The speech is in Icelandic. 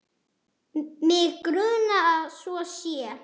Mig grunar að svo sé.